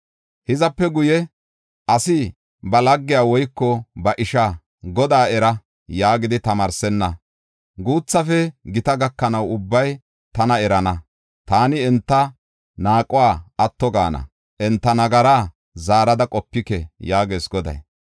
Hizape guye, asi ba laggiya woyko ba ishaa, ‘Godaa era’ yaagidi tamaarsenna. Guuthafe gita gakanaw ubbay tana erana. Taani enta naaquwa atto gaana; enta nagaraa zaarada qopike” yaagees Goday.